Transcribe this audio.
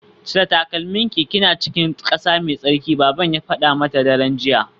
Cire takalminki kina cikin kasa mai tsarki baban ya fada mata daren jiya